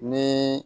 Ni